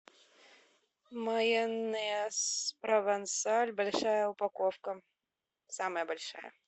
майонез провансаль большая упаковка самая большая